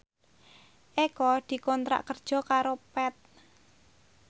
Eko dikontrak kerja karo Path